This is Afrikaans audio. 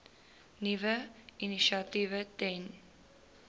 nuwe initiatiewe ten